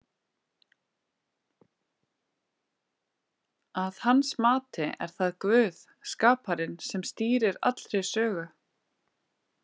Að hans mati er það Guð, skaparinn, sem stýrir allri sögu.